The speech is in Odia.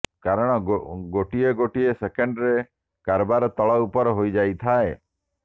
କାରଣ ଗୋଟିଏ ଗୋଟିଏ ସେକେଣ୍ଡରେ କାରବାର ତଳ ଉପର ହୋଇଯାଇଥାଏ